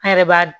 An yɛrɛ b'a